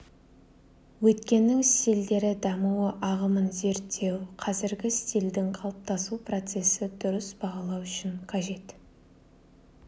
өткеннің стильдері дамуы ағымын зерттеу қазіргі стильдің қалыптасу процесі дұрыс бағалау үшін қажет